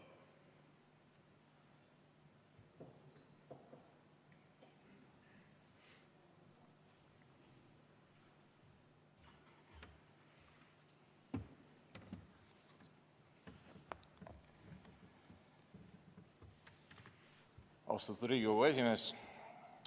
Austatud Riigikogu esimees!